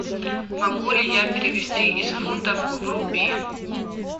могу ли я перевести из фунтов в рупии